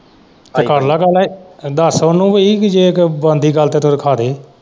ਤੇ ਕਰ ਲੈ ਗੱਲ ਦਸ ਉਹਨੂੰ ਬਈ ਜੇ ਤੇ ਬਣਦੀ ਗੱਲ ਤੇ ਤੂੰ ਰੱਖਾਦੇ।